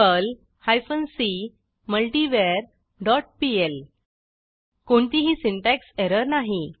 Perl hyphen C multivar dot PL कोणतीही syntax error नाही